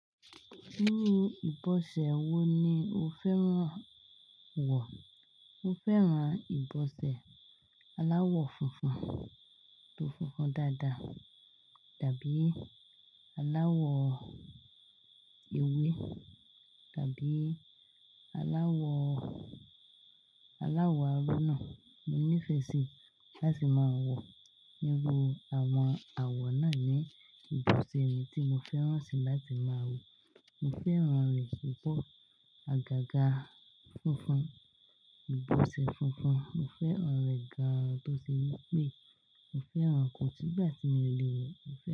Nínú ìbọ̀sẹ̀ wo ni o fẹ́ràn wọ̀? Mo fẹ́ràn ìbọ̀sẹ̀ aláwọ̀ funfun tó funfun dáadáa, tàbí aláwọ̀ ewé tàbí aláwọ̀, aláwọ̀ aró náa. Mo nífẹ̀ẹ́ sí láti máa wọ̀. Irú àwọn àwọ̀ náà ni ìbọ̀sẹ̀ mi tí mo fẹ́ràn sí láti máa wọ̀. Mo fẹ́ràn rẹ̀ púpọ̀. Àgàgà funfun, ìbọ̀sẹ̀ funfun. Mo fẹ́ràn rẹ̀ gan-an tó ṣe wípé mo fẹ́ràn ko sígbà tí mi ò lè wọ̀ o, mo fẹ́